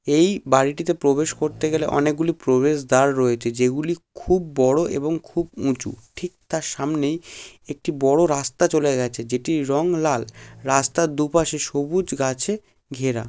এইবাড়িটিতে প্রবেশ করতে গেলে অনেকগুলি প্রবেশদ্বার রয়েছে যেগুলি খুব বড় এবং খুব উঁচুঠিক তার সামনেই একটি বড় রাস্তা চলে গেছে যেটি রং লাল রাস্তা দুপাশে সবুজ গাছেঘেরা।